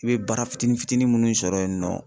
I be baara fitinin fitinin munnu sɔrɔ yen nɔ